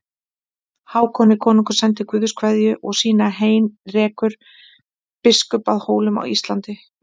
Hákoni konungi sendir Guðs kveðju og sína Heinrekur biskup að Hólum á Íslandi.